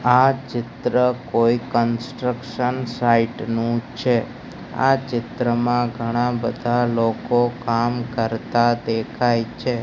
આ ચિત્ર કોઈ કન્સ્ટ્રક્શન સાઇટ નુ છે આ ચિત્રમાં ઘણા બધા લોકો કામ કરતા દેખાય છે.